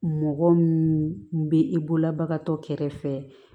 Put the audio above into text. Mɔgɔ min bɛ i bolobaga tɔ kɛrɛfɛ